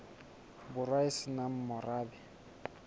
borwa e se nang morabe